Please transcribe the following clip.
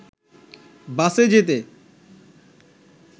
বাসে যেতে